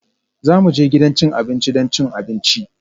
Za mu je gidan cin abinci don cin abinci